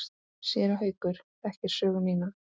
Séra Haukur þekkir sögu mína.